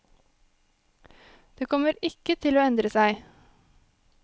Det kommer ikke til å endre seg.